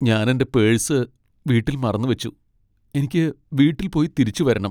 ഞാൻ എന്റെ പേഴ്സ് വീട്ടിൽ മറന്നു വച്ചു. എനിക്ക് വീട്ടിൽ പോയി തിരിച്ചുവരണം .